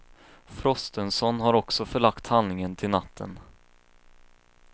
Frostenson har också förlagt handlingen till natten.